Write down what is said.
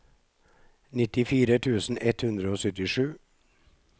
nittifire tusen ett hundre og syttisju